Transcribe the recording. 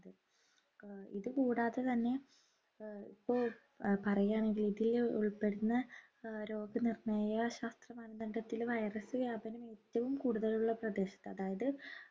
ആഹ് ഇതുകൂടാതെ തന്നെ ഏർ ഇപ്പോ പറയാണെങ്കിൽ ഇതിൽ ഉൾപ്പെടുന്ന ആഹ് രോഗനിർണയ ശാസ്ത്രമാനദണ്ഡത്തിൽ virus വ്യാപനം ഏറ്റവും കൂടുതലുള്ള പ്രദേശത്ത് അതായത്